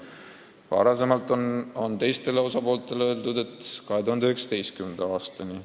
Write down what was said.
Varem on teistele osapooltele öeldud, et 2019. aastani.